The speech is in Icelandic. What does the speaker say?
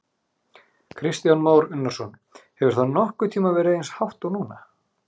Kristján Már Unnarsson: Hefur það nokkurn tímann verið eins hátt og núna?